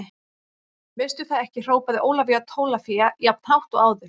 Veistu það ekki hrópaði Ólafía Tólafía jafn hátt og áður.